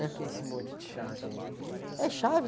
Para que esse monte de chave aí? chave...